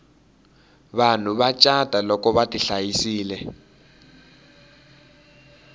vanhu va cata loko vati hlayisile